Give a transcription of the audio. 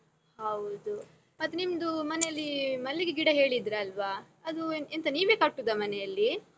ಹೌದು. ಮತ್ ನಿಮ್ದು ಮನೆಯಲ್ಲಿ ಮಲ್ಲಿಗೆ ಗಿಡ ಹೇಳಿದ್ರಲ್ವ? ಅದು ಎಂತ್ ಎಂತ ನೀವೇ ಕಟ್ಟುದ ಮನೆಯಲ್ಲಿ?